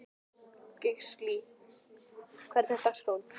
Gíslný, hvernig er dagskráin?